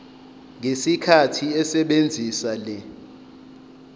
ngesikhathi esebenzisa le